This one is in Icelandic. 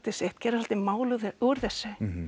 sitt gera svolítið mál úr þessu